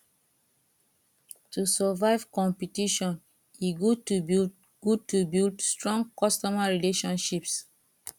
to survive competition e good to build good to build strong customer relationships